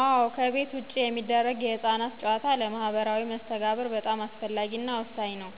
አዎ ከቤት ውጭ የሚደረግ የህፃናት ጨዋታ ለማህበራዊ መስተጋብር በጣም አስፈላጊ እና ወሳኝ ነው።